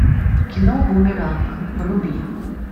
кино бумеранг вруби